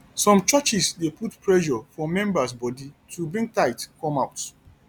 some churches dey put pressure for members body to bring tithe come out